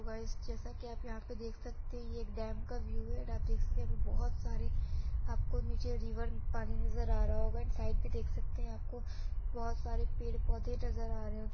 hello guys जैसा कि आप यहाँ पे देख सकते हैं ये एक डेम का व्यू है एंड आप देख सकते है यहाँ पर बहोत सारे आप को नीचे रिवर पानी नज़र आ रहा होगा एंड साइड मैं देख सकते हैं आपको बहोत सारे पेड़ पौधे नज़र आ रहे हों --